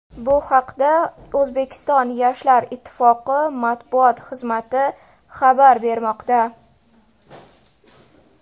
Bu haqda O‘zbekiston Yoshlar ittifoqi matbuot xizmati xabar bermoqda.